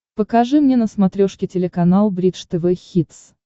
покажи мне на смотрешке телеканал бридж тв хитс